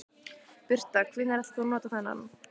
Birta: Hvenær ætlar þú að nota þennan?